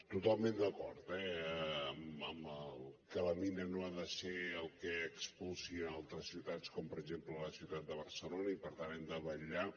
totalment d’acord eh amb que la mina no ha de ser el que expulsin altres ciutats com per exemple la ciutat de barcelona i per tant ho hem de vetllar